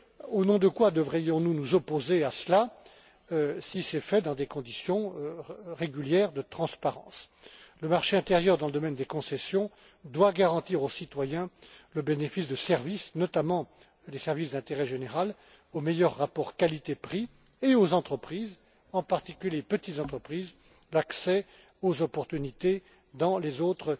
privé, au nom de quoi devrions nous nous opposer à cela, si cela se déroule dans des conditions régulières de transparence? Le marché intérieur dans le domaine des concessions doit garantir aux citoyens le bénéfice de services, notamment les services d'intérêt général, au meilleur rapport qualité prix, et aux entreprises, en particulier aux petites entreprises, l'accès aux marchés dans